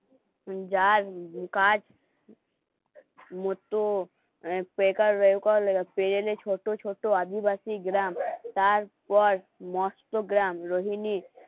কাজ মতো মানে বেকার বেগুন পেরেছে ছোট ছোট আদিবাসী গ্রাম তার মস্তগ্রাম রোহিণীর